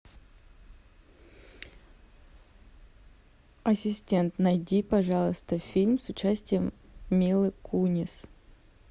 ассистент найди пожалуйста фильм с участием милы кунис